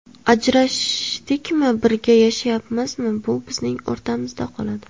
Ajrashdikmi, birga yashayapmizmi bu bizning o‘rtamizda qoladi.